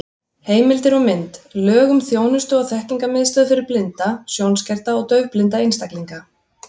Heimildir og mynd: Lög um þjónustu- og þekkingarmiðstöð fyrir blinda, sjónskerta og daufblinda einstaklinga.